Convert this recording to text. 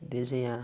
E desenhar